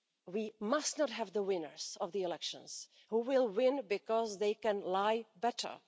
We must not have winners of the elections who will win because they can lie better.